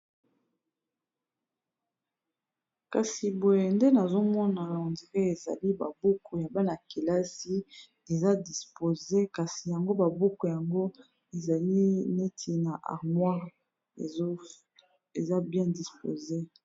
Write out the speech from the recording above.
kasi boye nde nazomona londra ezali babuku ya bana -kelasi eza dispose kasi yango babuku yango ezali neti na armoire eza bien disposé